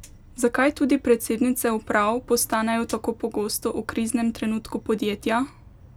Zakaj tudi predsednice uprav postanejo tako pogosto v kriznem trenutku podjetja?